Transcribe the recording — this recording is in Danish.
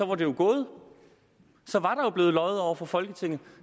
var det jo gået så var der blevet løjet over for folketinget